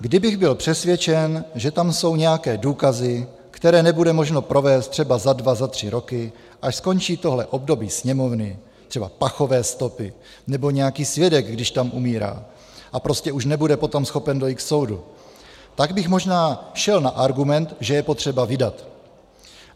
Kdybych byl přesvědčen, že tam jsou nějaké důkazy, které nebude možno provést třeba za dva, za tři roky, až skončí tohle období Sněmovny, třeba pachové stopy nebo nějaký svědek, když tam umírá a prostě už nebude potom schopen dojít k soudu, tak bych možná šel na argument, že je potřeba vydat.